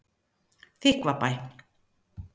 Þykkvabæ